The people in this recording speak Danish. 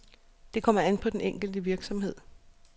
Det kommer an på den enkelte virksomhed.